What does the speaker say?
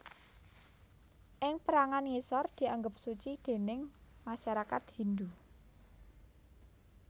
Ing pérangan ngisor dianggep suci déning masyarakat Hindhu